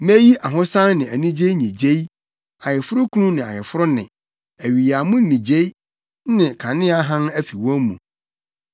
Meyi ahosan ne anigye nnyigyei, ayeforokunu ne ayeforo nne, awiyammo nnyigyei ne kanea hann afi wɔn mu.